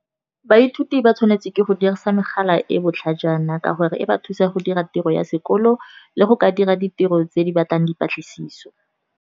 Baithuti ba tshwanetse ke go dirisa megala e botlhajana ka gore e ba thusa go dira tiro ya sekolo, le go ka dira ditiro tse di batlang dipatlisiso.